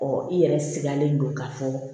i yɛrɛ sigilen don ka fɔ